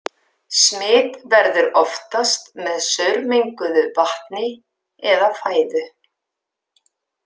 Smit verður oftast með saurmenguðu vatni eða fæðu.